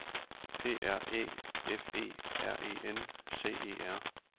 P R Æ F E R E N C E R